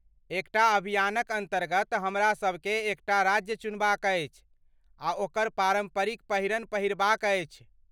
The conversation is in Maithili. एकटा अभियानक अन्तर्गत हमरासभकेँ एकटा राज्य चुनबाक अछि आ ओकर पारम्परिक पहिरन पहिरबाक अछि।